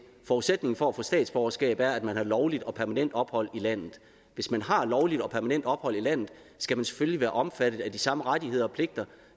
forudsætningen for at få statsborgerskab er at man har lovligt og permanent ophold i landet hvis man har lovligt og permanent ophold i landet skal man selvfølgelig være omfattet af de samme rettigheder og pligter